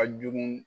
A jugu